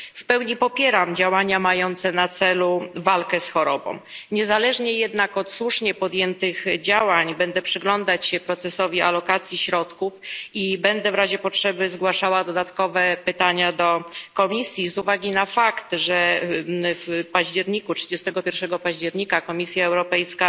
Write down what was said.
W pełni popieram działania mające na celu walkę z chorobą, niezależnie jednak od słusznie podjętych działań będę przyglądać się procesowi alokacji środków i będę w razie potrzeby zgłaszała dodatkowe pytania do Komisji z uwagi na fakt, że 31 października Komisja Europejska